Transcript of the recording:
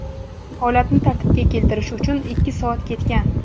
Holatni tartibga keltirish uchun ikki soat ketgan.